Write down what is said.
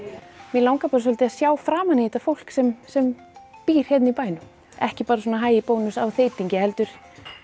mig langar bara svolítið að sjá framan í þetta fólk sem sem býr hérna í bænum ekki bara svona hæ í Bónus á þeytingi heldur